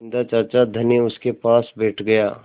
बिन्दा चाचा धनी उनके पास बैठ गया